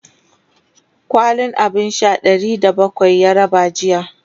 kwalin abun Sha Ɗari da bakwai ya raba jiya